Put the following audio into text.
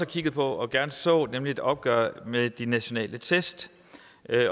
kigget på og gerne så nemlig et opgør med de nationale test